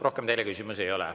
Rohkem teile küsimusi ei ole.